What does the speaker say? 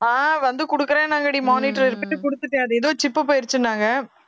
ஆஹ் வந்து குடுக்கறேன்னாங்கடி monitor repair க்கு குடுத்துட்டேன் அது எதோ chip போயிருச்சுன்னாங்க